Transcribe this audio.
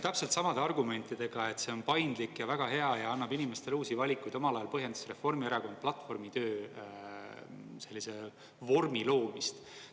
Täpselt samade argumentidega, et see on paindlik ja väga hea ja annab inimestele uusi valikuid, omal ajal põhjendas Reformierakonna platvormitöö sellise vormi loomist.